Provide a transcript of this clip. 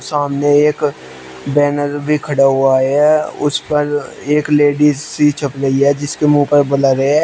सामने एक बैनर भी खड़ा हुआ है उस पर एक लेडिज सी छप रही है जिसके मुंह पर बलर है।